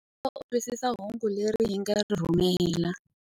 Ndza tshemba u twisisa hungu leri hi nga ri rhumela.